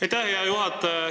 Aitäh, hea juhataja!